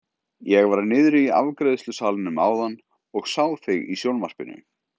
Ég var niðri í afgreiðslusalnum áðan og sá þig í sjónvarpinu!